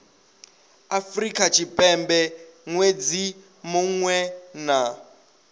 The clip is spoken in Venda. afrika tshipembe ṅwedzi muṅwe na